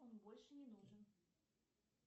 он больше не нужен